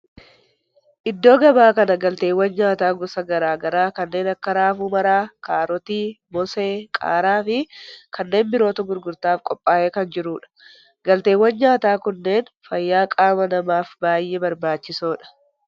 Iddoo gabaa kana galteewwan nyaataa gosa garaa garaa kanneen akka raafuu maramaa, kaarotii, moosee, qaaraa fi kanneen birootu gurgurtaaf qophaa'ee kan jirudha. Galteewwan nyaataa kunneen fayyaa qaama namaaf baayyee barbaachisoodha.